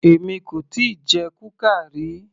Èmi kò tíì jẹ kuka ríi